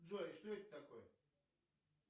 джой что это такое